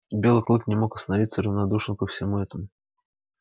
белый клык не мог оставаться равнодушным ко всему этому